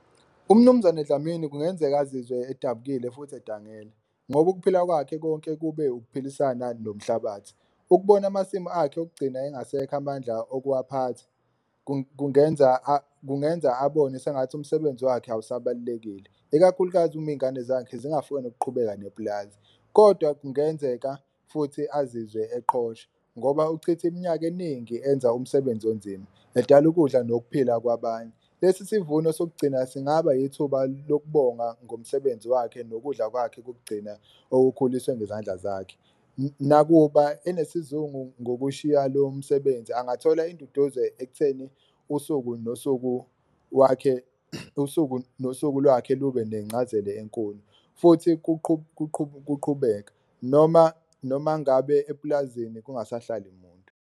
Umnumzane Dlamini kungenzeka azizwe edabukile futhi adangele ngoba ukuphila kwakhe konke kube ukuphilisana nomhlabathi, ukubona amasimu akhe ukugcina engasekho amandla okuwaphatha kungenza kungenza abone sengathi umsebenzi wakhe awusabalulekile. Ikakhulukazi uma ingane zakhe zingafuni ukuqhubeka nepulazi, kodwa kungenzeka futhi azizwe eqhosha ngoba ukuchithe iminyaka eningi enza umsebenzi onzima, edala ukudla nokuphila kwabanye. Lesi sivuno sokugcina singaba ithuba lokubonga ngomsebenzi wakhe nokudla kwakhe kokugcina okukhulisiwe ngezandla zakhe, nakuba enesizungu ngokushiya lo msebenzi. Angathola induduzo ekutheni usuku nosuku wakhe, usuku nosuku lwakhe lube nencazelo enkulu futhi kuqhubeka noma noma ngabe epulazini kungasahlali muntu.